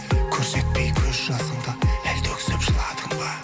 көрсетпей көз жасыңды әлде өксіп жыладың ба